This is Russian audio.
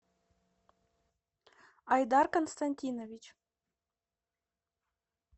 айдар константинович